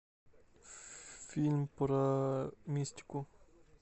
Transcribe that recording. фильм про мистику